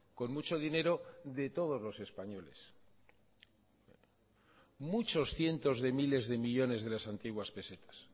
con mucho dinero de todos los españoles muchos cientos de miles de millónes de las antiguas pesetas